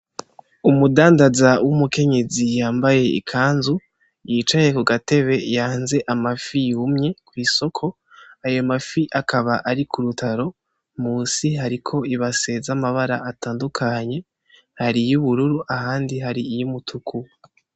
Umudandaza w'umukenyezi yambaye ikanzu yicaye kugatebe yanze amafi yumye kwisoko ayo mafi akaba ari kurutaro munsi hariko ibase zi amabara atandukanye hari iyubururu ahandi hari iyumutuku.